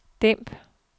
dæmp